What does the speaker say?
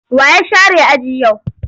Wa ya share aji yau?